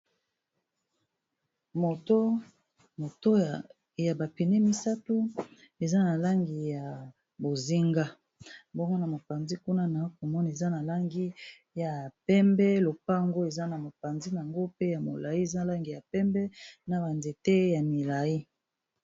Moto moto ya ba pneus misato eza na langi ya bozinga. Bongo na mopanzi kuna na komona eza na langi ya pembe lopango eza na mopanzi nango pe ya molayi eza na langi ya pembe na banzete ya milayi